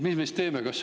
Mis me siis teeme?